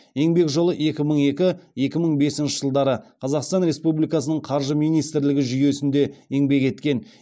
еңбек жолы екі мың екі екі мың бесінші жылдары қазақстан республикасының қаржы министрлігі жүйесінде еңбек еткен